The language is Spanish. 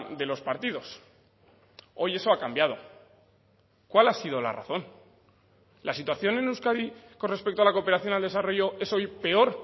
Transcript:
de los partidos hoy eso ha cambiado cuál ha sido la razón la situación en euskadi con respecto a la cooperación al desarrollo es hoy peor